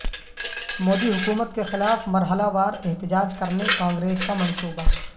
مودی حکومت کے خلاف مرحلہ وار احتجاج کرنے کانگریس کا منصوبہ